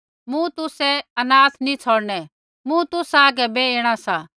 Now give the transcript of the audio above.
मूँ तुसै अनाथ नी छ़ौड़णै मूँ तुसा आगै बै ऐणा सा